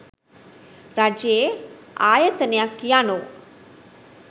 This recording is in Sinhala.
රජයේ ආයතනයක් යනු